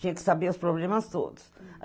Tinha que saber os problemas todos.